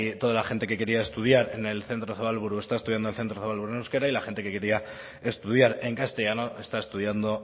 toda la gente que quería estudiar en el centro zabalburu está estudiando en el centro zabalburu en euskera y la gente que quería estudiar en castellano está estudiando